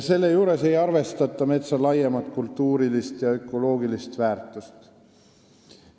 Selle juures ei arvestata metsa laiemat kultuurilist ja ökoloogilist väärtust.